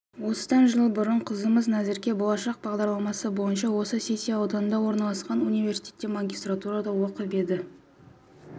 осыдан жыл бұрын қызымыз назерке болашақ бағдарламасы бойынша осы сити ауданында орналасқан университетте магистратурада оқып еді